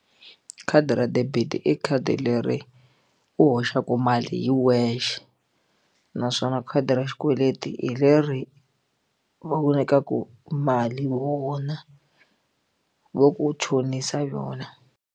Khadi ra debit i khadi leri u hoxaka mali hi wexe naswona khadi ra xikweleti hi leri va ku nyikaku mali vona vo ku chonisa yona.